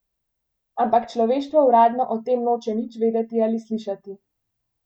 Ampak človeštvo uradno o tem noče nič vedeti ali slišati.